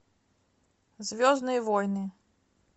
звездные войны